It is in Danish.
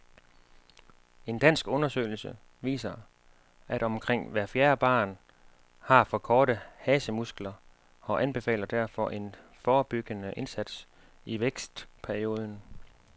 En dansk undersøgelse viser, at omkring hvert fjerde barn har for korte hasemuskler, og anbefaler derfor en forebyggende indsats i vækstperioden.